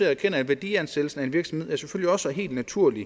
erkende at værdiansættelsen af en virksomhed helt naturligt